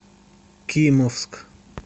кимовск